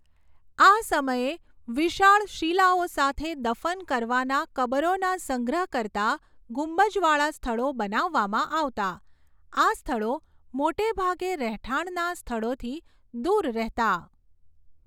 આ સમયે વિશાળ શિલાઓ સાથે દફન કરવાના કબરોના સંગ્રહ કરતા ગુંબજવાળાં સ્થળો બનાવવામાં આવતાં. આ સ્થળો મોટેભાગે રહેઠાણના સ્થળોથી દુર રહેતાં.